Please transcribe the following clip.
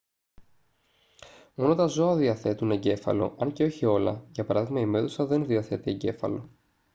μόνο τα ζώα διαθέτουν εγκέφαλο αν και όχι όλα για παράδειγμα η μέδουσα δεν διαθέτει εγκέφαλο